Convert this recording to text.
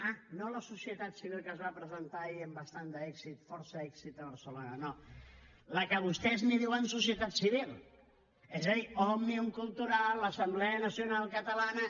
ah no la societat civil que es va presentar ahir amb bastant d’èxit força èxit a barcelona no la que vostès n’hi diuen societat civil és a dir òmnium cultural l’assemblea nacional catalana